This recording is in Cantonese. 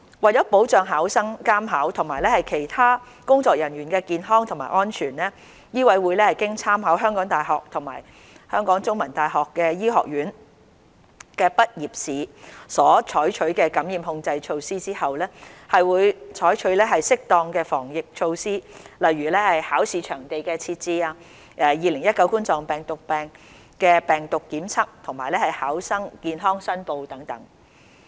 為保障考生、監考及其他工作人員的健康及安全，醫委會經參考香港大學及香港中文大學醫科畢業試所採取的感染控制措施後，會採取適當的防疫措施，例如考試場地的設置、2019冠狀病毒病病毒檢測及考生健康申報等。